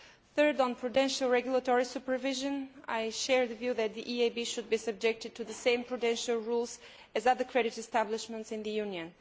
Thirdly, on prudential regulatory supervision, I share the view that the EIB should be subject to the same prudential rules as other credit establishments in the Union.